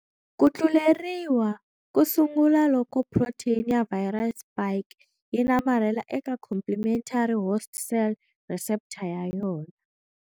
Ku tluleriwa ku sungula loko protein ya viral spike yi namarhela eka complementary host cell receptor ya yona.